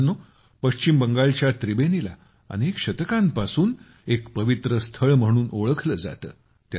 मित्रांनो पश्चिम बंगालच्या त्रिबेनीला अनेक शतकांपासून एक पवित्रस्थळ म्हणून ओळखलं जातं